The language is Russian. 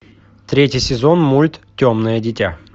третий сезон мульт темное дитя